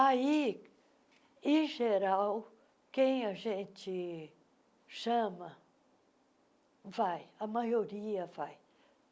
Aí, em geral, quem a gente chama vai, a maioria vai.